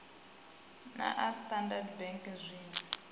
na a standard bank zwinwe